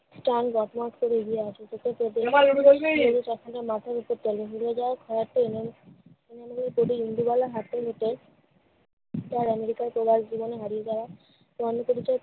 চাঁদ বর্তমান স্তরে এগিয়ে আসে। চাষীদের মাথার উপর। কেন ভুলে যায়? তবে ইন্দুবালা হাতের মুঠোয় তার আমেরিকায় প্রবাস জীবনে হারিয়ে যাওয়া জন্মপরিচয়